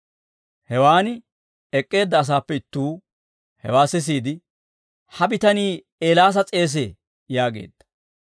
Hewaan ek'k'eedda asaappe ittuu hewaa sisiide, «Ha bitanii Eelaasa s'eesee» yaageedda.